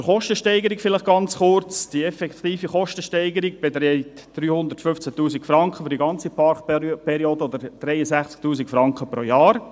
Ganz kurz zur Kostensteigerung: Die effektive Kostensteigerung beträgt für die ganze Parkperiode 315 000 Franken oder 63 000 Franken pro Jahr.